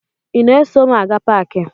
Ị na-eso m aga paakị?